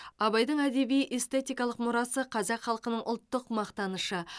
абайдың әдеби эстетикалық мұрасы қазақ халқының ұлттық мақтанышы